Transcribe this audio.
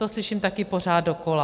To slyším taky pořád dokola.